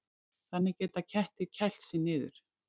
Þannig geta kettir kælt sig niður.